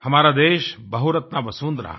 हमारा देश बहुरत्नावसुंधरा है